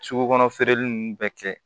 Sugu kɔnɔ feereli nunnu bɛɛ kɛ